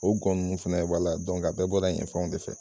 O gɔn nunnu fɛnɛ wala a bɛɛ bɔra yen fanw de fɛ.